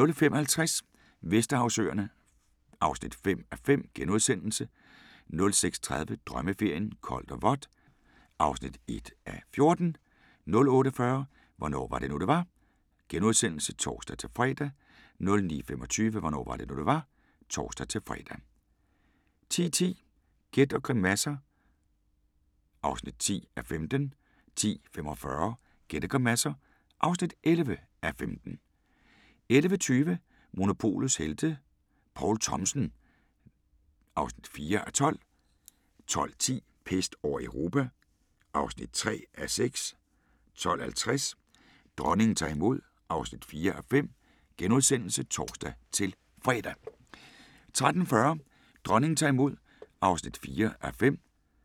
05:50: Vesterhavsøerne (5:5)* 06:30: Drømmeferien: Koldt og vådt (1:14) 08:40: Hvornår var det nu, det var? *(tor-fre) 09:25: Hvornår var det nu, det var? (tor-fre) 10:10: Gæt og grimasser (10:15) 10:45: Gæt og grimasser (11:15) 11:20: Monopolets helte - Poul Thomsen (4:12) 12:10: Pest over Europa (3:6) 12:50: Dronningen tager imod (4:5)*(tor-fre) 13:40: Dronningen tager imod (4:5)